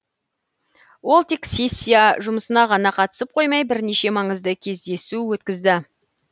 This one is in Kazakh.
ол тек сессия жұмысына ғана қатысып қоймай бірнеше маңызды кездесу өткізді